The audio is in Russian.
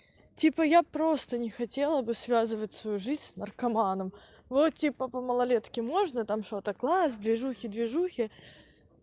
типа я просто не хотела бы связывать свою жизнь с наркоманом вот типа по малолетке можно там что-то класс движухи движухи